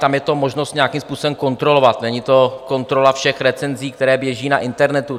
Tam je možnost to nějakým způsobem kontrolovat, není to kontrola všech recenzí, které běží na internetu.